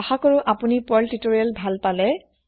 আশা কৰো আপোনি Perl tutorial ভাল পালে